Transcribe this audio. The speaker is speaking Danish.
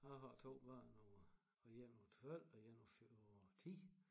Jeg har 2 børn på én på 12 og én på 10